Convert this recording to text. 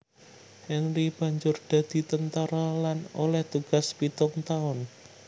Henry banjur dadi tentara lan oleh tugas pitung taun